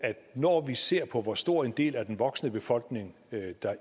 at når vi ser på hvor stor en del af den voksne befolkning